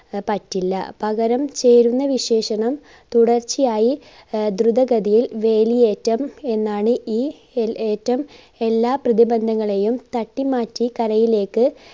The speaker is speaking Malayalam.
പറ്റില്ല പകരം ചേരുന്ന വിശേഷണം തുടർച്ചയായി ആഹ് ദ്രുതഗതിയിൽ വേലിയേറ്റം എന്നാണ് ഈ യേറ്റം എല്ലാ പ്രതിബന്ധങ്ങളെയും തട്ടി മാറ്റി കരയിലേക്ക്